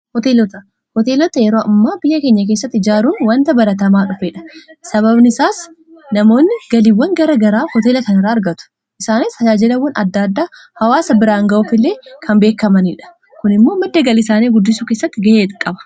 Hoteelota yeroo ammaa biyya keenya keessatti ijaaruun wanta baratamaa dhufeedha. Sababni isaas namoonni galiiwwan gara garaa hooteelota irraa argatu isaanis tajaajilawwan adda addaa hawaasa biraan ga'uuf illee kan beekkamaniidha. Kun immoo madda galii isaanii guddisuu keessatti ga'ee qaba.